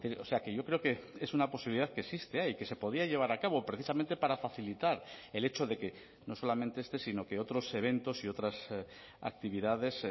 o sea que yo creo que es una posibilidad que existe y que se podía llevar a cabo precisamente para facilitar el hecho de que no solamente este sino que otros eventos y otras actividades